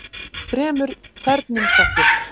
Þremur þernum sagt upp